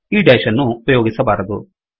ಈ ಡೇಶ್ ಅನ್ನು ಉಪಯೋಗಿಸಬಾರದು